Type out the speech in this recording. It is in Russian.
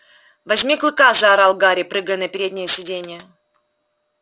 возьми клыка заорал гарри прыгая на переднее сиденье